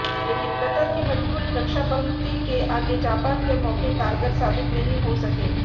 लेकिन कतर की मजबूत रक्षापंक्ति के आगे जापान के मौके कारगर साबित नहीं हो सके